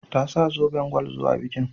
Ta sa zoben gwal zuwa bikin.